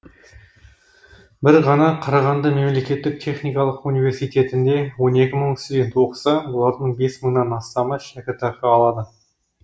бір ғана қарағанды мемлекеттік техникалық университетінде он екі мың студент оқыса олардың бес мыңнан астамы шәкіртақы алады